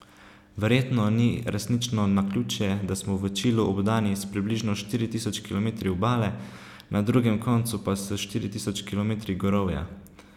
Verjetno ni resnično naključje, da smo v Čilu obdani s približno štiri tisoč kilometri obale, na drugem koncu pa s štiri tisoč kilometri gorovja.